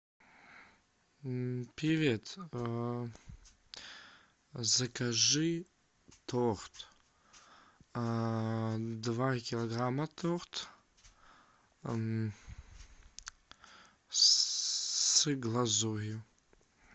привет закажи торт два килограмма торт с глазурью